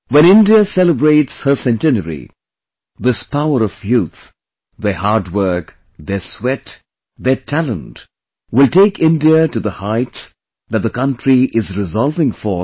When India celebrates her centenary, this power of youth, their hard work, their sweat, their talent, will take India to the heights that the country is resolving today